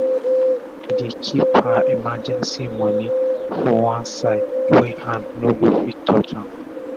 she dey kip her emergency moni for one side wey hand no go fit touch am